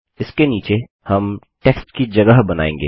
इसके नीचे हम टेक्स्ट की जगह बनाएँगे